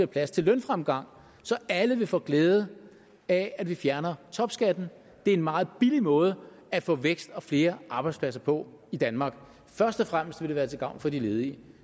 plads til lønfremgang så alle vil få glæde af at vi fjerner topskatten det er en meget billig måde at få vækst og flere arbejdspladser på i danmark først og fremmest vil det være gavn til gavn for de ledige